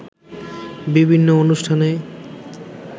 বিভিন্ন অনুষ্ঠানে